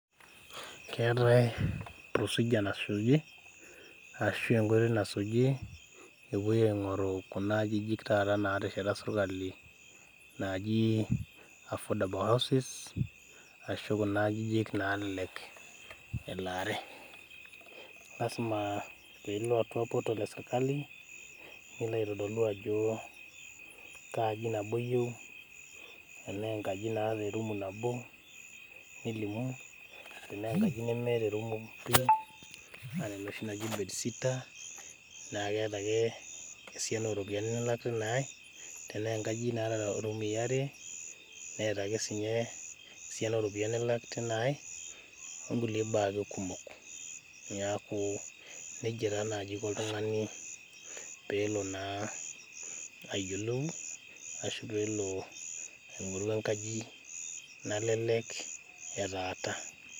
keetae procedure nasuji ashu enkoitoi nasuji epuoi aing'oru kuna ajijik taata natesheta sirkali naaji affordable houses ashu kuna ajijik nalelek elaare lasima piilo atua portal esirkali nilo aitodolu ajo kaa aji nabo iyieu enaa enkaji naata erumu nabo nilimu tenaa enkaji nemeeta erumu iyieu enaa enoshi naji bedsitter naa keeta ake esiana oropiyiani nilak tina ae tenaa enkaji naata irumui are neeta ake sinye esiana oropiyiani nilak tina ae onkulie baa ake kumok niaku nejia taa naaji iko oltung'ani peelo naa ayiolou ashu peelo aing'oru enkaji nalelek etaata.